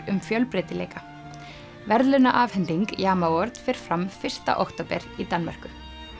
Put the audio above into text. um fjölbreytileika verðlaunaafhending fer fram fyrsta október í Danmörku